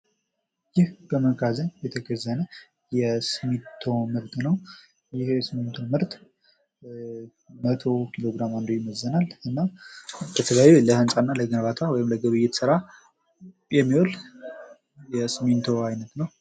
ይህ በመጋዘን የተከዘነ የሲሚንቶ ምርት ነው። ይህ የሲሚንቶ ምርት መቶ ኪግ አንዱ ይመዝናል። እናም ለተለያዩ ለህንፃና ለግንባታ ወይም ለግብይት ስራ የሚውል የሲሚንቶ አይነት ነው።